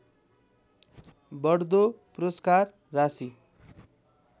बढ्दो पुरस्कार राशि